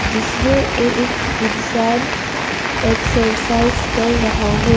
जिसमें एक इंसान एक्सरसाइज कर रहा है।